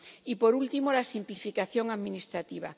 Y, por último, la simplificación administrativa.